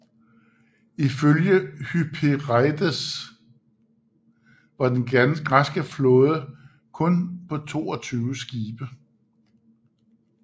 Ifølge Hypereides var den græske flåde kun på 22 skibe